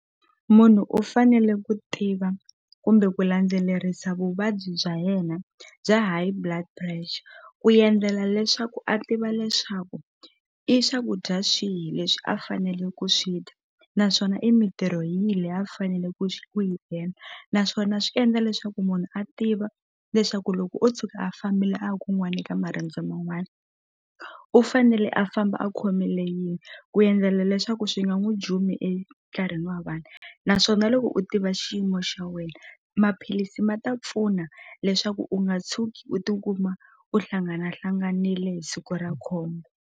Munhu u fanele ku tiva kumbe ku landzelerisa vuvabyi bya yena bya High Blood Pressure ku endlela leswaku a tiva leswaku i swakudya swihi leswi a fanele ku swi dya naswona i mintirho yihi leyi a fanele ku ku yi endla naswona swi endla leswaku munhu a tiva leswaku loko o tshuka a fambile a ya kun'wani eka marendzo man'wani u fanele a famba a khomile yini ku endlela leswaku swi nga n'wu jumi wa vanhu naswona loko u tiva xiyimo xa wena maphilisi ma ta pfuna leswaku u nga tshuki u tikuma u hlanganahlanganile hi siku ra khombo.